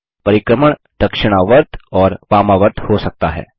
परिक्रमण दक्षिणावर्त और वामावर्त हो सकता है